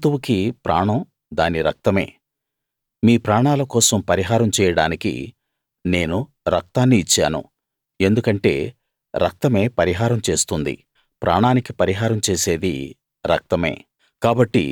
ఒక జంతువుకి ప్రాణం దాని రక్తమే మీ ప్రాణాల కోసం పరిహారం చేయడానికి నేను రక్తాన్ని ఇచ్చాను ఎందుకంటే రక్తమే పరిహారం చేస్తుంది ప్రాణానికి పరిహారం చేసేది రక్తమే